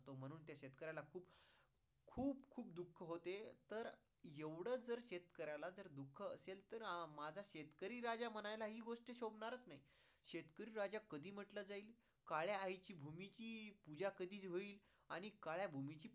दुःख होते तर एवढ जर शेतकर्याला जर दुःख असेल तर, माझा शेतकरी राजा म्हणायला हि गोष्ट शोभणारच नाही. शेतकरी राजा कधी म्हंटलं जाईल काळ्या आईची भूमीची पूजा कधी होईल आणि काळ्या भूमीची